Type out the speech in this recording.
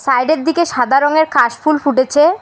সাইডের -এর দিকে সাদা রঙের কাশফুল ফুটেছে।